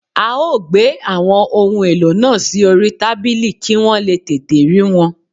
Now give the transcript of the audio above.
A ó gbé àwọn ohun èlò náà sí orí tábìlì kí wọ́n lè tètè rí wọn